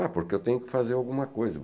Ah, porque eu tenho que fazer alguma coisa.